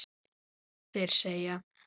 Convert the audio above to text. Þeir segja